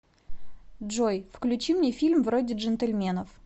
джой включи мне фильм вроде джентельменов